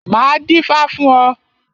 Máa dífá fún ọ.